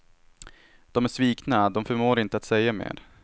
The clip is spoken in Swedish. De är svikna, de förmår inte säga mer.